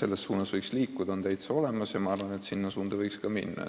selles suunas liikuda on täitsa olemas ja ma arvan, et selle suuna võiks võtta.